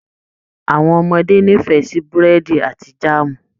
Àwọn ọmọdé n'ifẹ sí burẹdi àti jaamu.